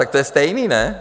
Tak to je stejný, ne?